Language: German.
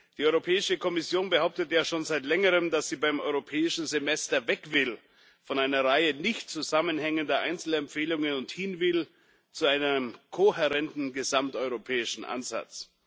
Die Europäische Kommission behauptet ja schon seit längerem, dass sie beim Europäischen Semester weg will von einer Reihe nicht zusammenhängender Einzelempfehlungen und hin will zu einem kohärenten gesamteuropäischen Ansatz.